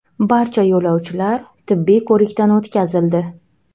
Barcha yo‘lovchilar tibbiy ko‘rikdan o‘tkazildi.